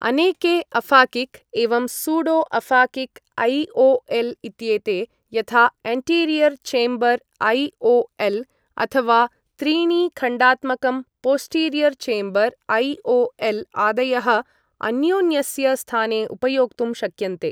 अनेके अफ़ाकिक् एवं pseudo aphakic IOL. इत्येते, यथा एन्टीरियर् चेम्बर् ऐ.ओ.एल्. अथवा त्रीणि खण्डात्मकं पोस्टीरीयर् चेम्बर् ऐ.ओ.एल्. आदयः अन्योन्यस्य स्थाने उपयोक्तुं शक्यन्ते।